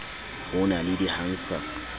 ho na le di hansard